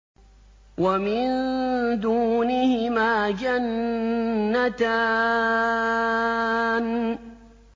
وَمِن دُونِهِمَا جَنَّتَانِ